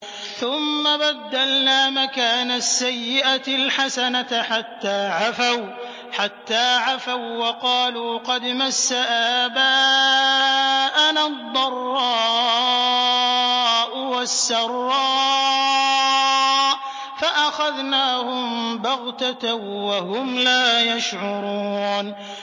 ثُمَّ بَدَّلْنَا مَكَانَ السَّيِّئَةِ الْحَسَنَةَ حَتَّىٰ عَفَوا وَّقَالُوا قَدْ مَسَّ آبَاءَنَا الضَّرَّاءُ وَالسَّرَّاءُ فَأَخَذْنَاهُم بَغْتَةً وَهُمْ لَا يَشْعُرُونَ